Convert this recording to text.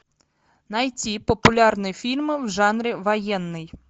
найти популярные фильмы в жанре военный